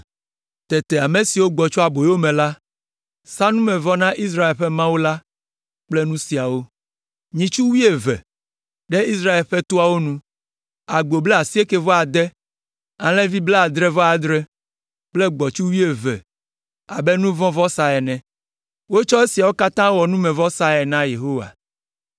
Tete ame siwo gbɔ tso aboyo me la sa numevɔ na Israel ƒe Mawu la kple nu siawo: Nyitsu wuieve, ɖe Israel ƒe toawo nu, agbo blaasiekɛ-vɔ-ade, alẽvi blaadre-vɔ-adre kple gbɔ̃tsu wuieve abe nu vɔ̃ vɔsa ene. Wotsɔ esiawo katã wɔ numevɔsae na Yehowa.